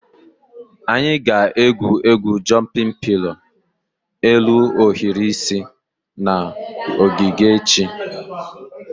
Anyị ga-egwu egwu "jụmpịn pilo" elu ohiri isi" na ogige echi